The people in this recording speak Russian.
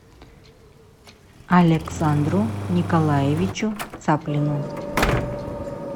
александру николаевичу цаплину